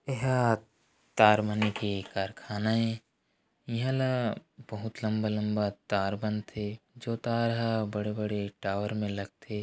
इह तारमन के कारखाना ए इहला बहुत लम्बा लम्बा तार बनथे जो तार ह बड़े बड़े टावर में लगथे।